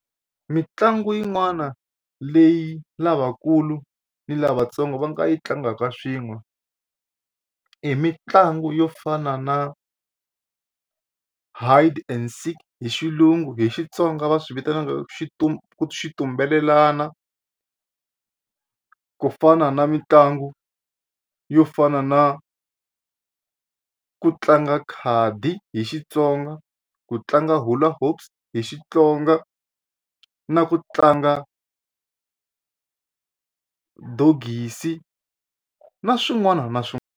Mitlangu yin'wana leyi lavakulu ni lavatsongo va nga yi tlangaka swin'we hi mitlangu yo fana na hide and seek hi xilungu hi Xitsonga va swi vitanaka xitumbelelana ku fana na mitlangu yo fana na ku tlanga khadi hi Xitsonga ku tlanga hula hoops hi Xitsonga na ku tlanga dogisi na swin'wana na .